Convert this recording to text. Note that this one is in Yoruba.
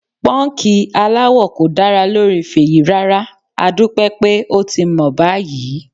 Pọ́ńkì aláwọ̀ kò dára lórí Fèyí rárá, adúpẹ́ pé ó ti mọ̀ báyìí.